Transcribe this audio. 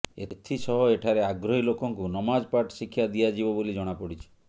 ଏଥିସହ ଏଠାରେ ଆଗ୍ରହୀ ଲୋକଙ୍କୁ ନମାଜ ପାଠ ଶିକ୍ଷା ଦିଆଯିବ ବୋଲି ଜଣାପଡ଼ିଛି